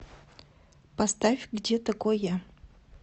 поставь где такой я